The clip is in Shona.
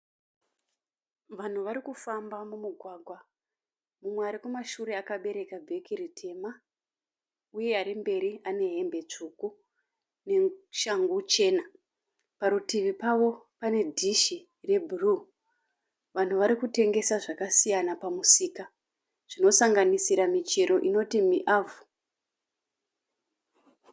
Vanhu varikufamba mumugwagwa, mumwe arikumashure akabereka bhegi ritema. Uye ari mberi ane hembe tsvuku neshangu chena. Parituvi pavo pene dhishi rebhuruu. Vanhu varikutengesa zvakasiyana pamusika, zvinosanganisira michero inoti muavho